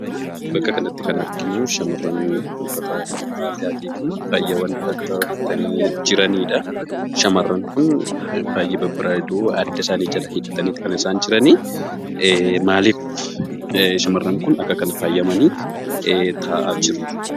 Bakka kanatti kan arginuu shamarran uffata aadaatii fi faayyawwan garaa garaa uffatanii jiranidha. Shamarran kun baay'ee babbareedu, adda isaanii jala hidhataniiti kan isaan jirani. Maalif shamarran kun akka kana faayyamanii taa'aa jiru?